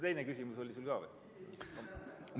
Teine küsimus oli sul ka või?